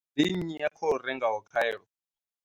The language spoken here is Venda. Ndi nnyi a khou rengaho khaelo?